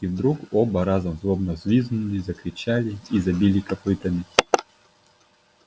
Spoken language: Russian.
и вдруг оба разом злобно взвизгнули закричали и забили копытами